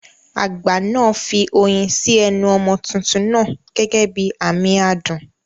Àgbà náà fi oyin sí ẹnu ọmọ tuntun náà gẹ́gẹ́ bí àmì adùn.